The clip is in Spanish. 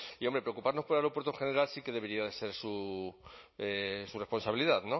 y hombre preocuparnos por el aeropuerto en general sí que debería ser su responsabilidad